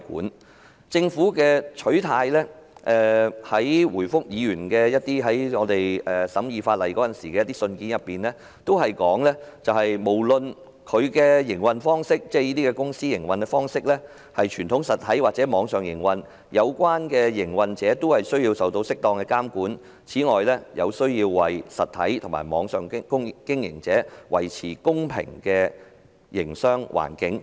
從政府回覆法案委員會委員的信件中可見，政府的取態是，無論這些公司是以傳統實體或網上方式營運，有關的營運者均須受到適當監管，以及要為實體和網上經營者維持公平的營商環境。